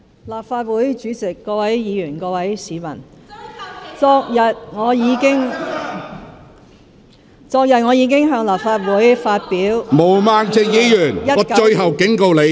立法會主席、各位議員、各位市民，昨日我已經向立法會發表了2019年......